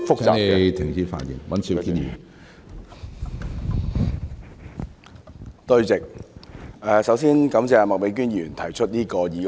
主席，首先感謝麥美娟議員提出這項議案。